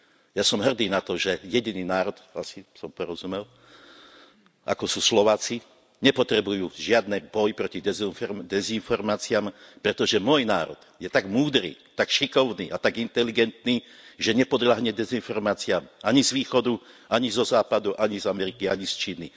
Ja som hrdý na to, že jediný národ, ako sú Slováci, nepotrebujú žiaden boj proti dezinformáciam, pretože môj národ je tak múdry, tak šikovný a tak inteligentný, že nepodľahne dezinformáciam ani z východu, ani zo západu, ani z Ameriky, ani z Číny.